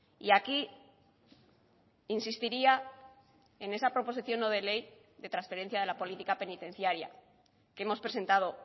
y aquí insistiría en esa proposición no de ley de transferencia de la política penitenciaria que hemos presentado